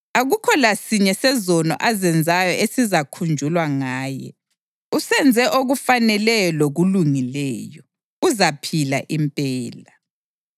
Akukho lasinye sezono azenzayo esizakhunjulwa ngaye. Usenze okufaneleyo lokulungileyo; uzaphila impela.